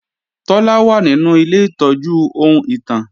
Taló wà nínú ilé ìtọ́jú ohun ìtàn?